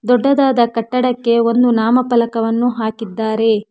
ದೊಡ್ಡದಾದ ಕಟ್ಟಡಕ್ಕೆ ಒಂದು ನಾಮಫಲಕವನ್ನು ಹಾಕಿದ್ದಾರೆ.